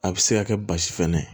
A bɛ se ka kɛ basi fɛnɛ ye